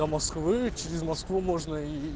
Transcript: до москвы через москву можно и